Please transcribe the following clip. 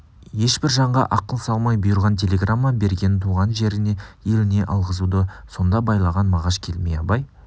ешбір жанға ақыл салмай бұйырған телеграмма берген туған жеріне еліне алғызуды сонда байлаған мағаш келмей абай